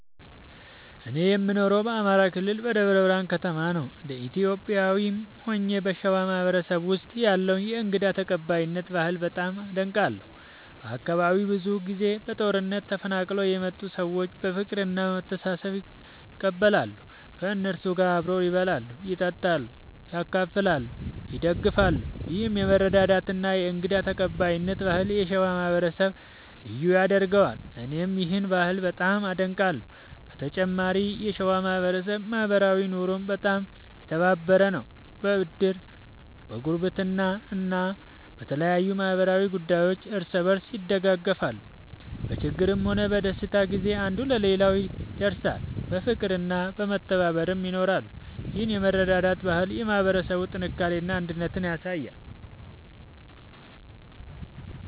እኔ የምኖረው በአማራ ክልል በደብረ ብርሃን ከተማ ነው። እንደ ኢትዮጵያዊም ሆኜ በሸዋ ማህበረሰብ ውስጥ ያለውን የእንግዳ ተቀባይነት ባህል በጣም አደንቃለሁ። በአካባቢው ብዙ ጊዜ በጦርነት ተፈናቅለው የመጡ ሰዎች በፍቅርና በመተባበር ይቀበላሉ። ከእነሱ ጋር አብረው ይበላሉ፣ ይጠጣሉ፣ ያካፍላሉ፣ ይደግፋሉም። ይህ የመረዳዳትና የእንግዳ ተቀባይነት ባህል የሸዋ ማህበረሰብን ልዩ ያደርገዋል፣ እኔም ይህን ባህል በጣም አደንቃለሁ። በተጨማሪም የሸዋ ማህበረሰብ በማኅበራዊ ኑሮው በጣም የተባበረ ነው። በዕድር፣ በጉርብትና እና በተለያዩ ማኅበራዊ ጉዳዮች እርስ በርስ ይደጋገፋሉ። በችግርም ሆነ በደስታ ጊዜ አንዱ ለሌላው ይደርሳል፣ በፍቅርና በመተባበርም ይኖራል። ይህ የመረዳዳት ባህል የማህበረሰቡን ጥንካሬና አንድነት ያሳያል።